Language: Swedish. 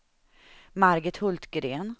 Margit Hultgren